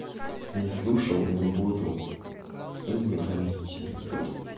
не слушал не буду и не воняйте мне тут